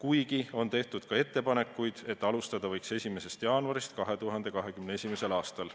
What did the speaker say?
Samas on tehtud ettepanekuid, et alustada võiks 1. jaanuaril 2021. aastal.